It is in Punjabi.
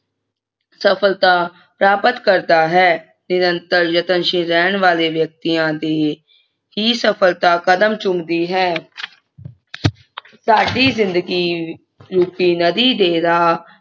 ਸਫਲਤਾ ਪ੍ਰਾਪਤ ਕਰਦਾ ਹੈ ਨਿਰੰਤਰ ਯਤਨਸ਼ੀਲ ਰਹਿਣ ਵਾਲੇ ਵਿਅਕਤੀਆਂ ਦੇ ਹੀ ਸਫਲਤਾ ਕਦਮ ਚੁੰਮਦੀ ਹੈ ਸਾਡੀ ਜਿੰਦਗੀ ਰੂਪੀ ਨਦੀ ਦੇ ਰਾਹ